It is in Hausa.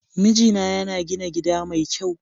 Mijina yana gina gida mai kyau.